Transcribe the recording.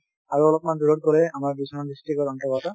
আৰু অলপমান দূৰত গলে আমাৰ বিশ্বনাথ district ৰ অন্তৰ্গত